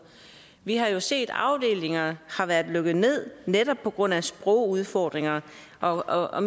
vi har jo set at afdelinger har været lukket ned netop på grund af sprogudfordringer og og